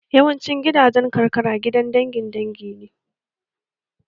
Yawancin gidajen karkara gidan dangin dangi ne